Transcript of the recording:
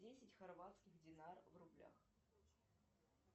десять хорватских динар в рублях